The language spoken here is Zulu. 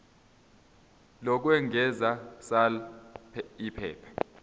lokwengeza sal iphepha